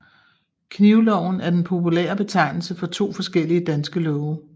Knivloven er den populære betegnelse for to forskellige danske love